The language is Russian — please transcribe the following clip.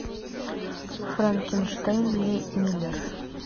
франкенштейн ли миллер